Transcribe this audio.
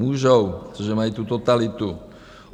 Můžou, protože mají tu totalitu.